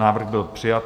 Návrh byl přijat.